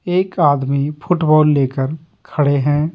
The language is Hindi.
एक आदमी फुटबॉल लेकरखड़े हैं।